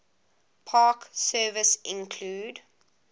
park service include